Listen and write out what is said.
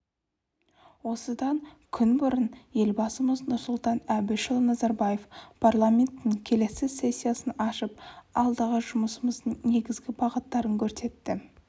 осыдан күн бұрын елбасымыз нұрсұлтан әбішұлы назарбаев парламенттің келесі сессиясын ашып алдағы жұмысымыздың негізгі бағыттарын көрсетті